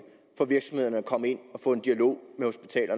for virksomhederne at komme ind og få en dialog